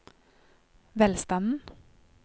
velstanden